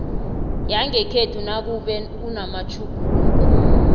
yangekhenu nakube kunamatjhuguluko